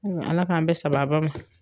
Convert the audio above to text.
Ala k'an bɛ sababa ma.